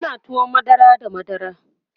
ana tuwon madara da madara